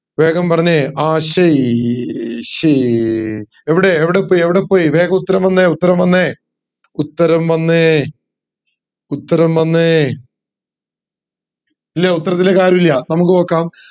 വേഗം പറഞ്ഞെ ആശ്ശി ശ്ശി എവിടെ എവിടെപ്പോയ്യ്‌ എവിടെപ്പോയ്യ്‌ വേഗം ഉത്തരം വന്നേ ഉത്തരം വന്നേ ഉത്തരം വന്നേ ഉത്തരം വന്നേ ഇല്ലേ ഉത്തരത്തിലേക്ക് ആരൂല്ല നമുക് നോക്കാം